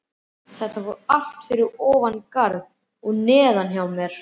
Þetta fór allt fyrir ofan garð og neðan hjá mér.